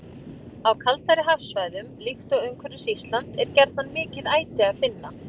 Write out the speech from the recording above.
Á kaldari hafsvæðum, líkt og umhverfis Ísland, er gjarnan mikið æti að finna.